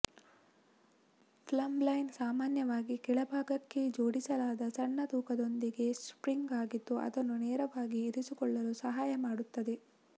plumb line ಸಾಮಾನ್ಯವಾಗಿ ಕೆಳಭಾಗಕ್ಕೆ ಜೋಡಿಸಲಾದ ಸಣ್ಣ ತೂಕದೊಂದಿಗೆ ಸ್ಟ್ರಿಂಗ್ ಆಗಿದ್ದು ಅದನ್ನು ನೇರವಾಗಿ ಇರಿಸಿಕೊಳ್ಳಲು ಸಹಾಯ ಮಾಡುತ್ತದೆ